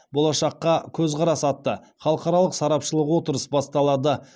болашаққа көзқарас атты халықаралық сарапшылық отырыс басталады